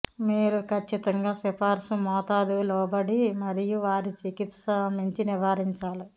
మీరు ఖచ్చితంగా సిఫార్సు మోతాదు లోబడి మరియు వారి చికిత్స మించి నివారించాలి